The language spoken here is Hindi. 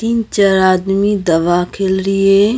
तीन चार आदमी दवा खेल रही है --